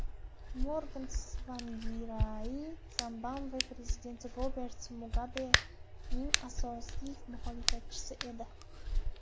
Morgan Tsvangirai Zimbabve prezidenti Robert Mugabening asosiy muxolifatchisi edi.